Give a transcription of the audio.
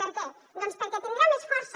per què doncs perquè tindrà més força